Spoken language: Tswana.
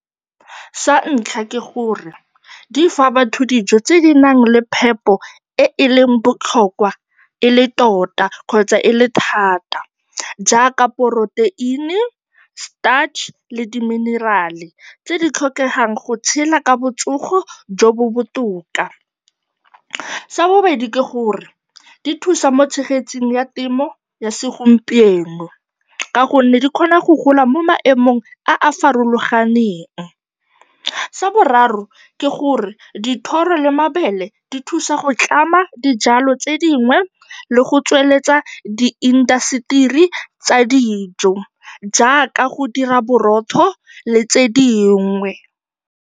Sa ntlha ke gore di fa batho dijo tse di nang le phepo e e leng botlhokwa e le tota kgotsa e le thata, jaaka poroteini, starch le di-mineral-e tse di tlhokegang go tshela ka botsogo jo bo botoka. Sa bobedi ke gore di thusa mo tshegetsong ya temo ya segompieno ka gonne di kgona go gola mo maemong a a farologaneng. Sa boraro ke gore dithoro le mabele di thusa go tlama dijalo tse dingwe le go tsweletsa diindaseteri tsa dijo jaaka go dira borotho le tse dingwe.